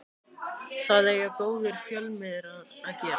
Það eiga góðir fjölmiðlar að gera